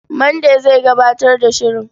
Mande zai gabatar da shirin.